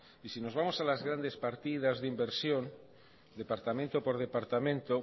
si nos vamos a las grandes partidas de inversión departamento por departamento